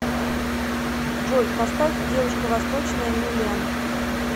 джой поставь девушка восточная милен